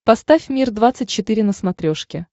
поставь мир двадцать четыре на смотрешке